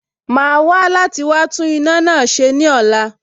Màá wá láti wá tún iná náà ṣe ní ọ̀la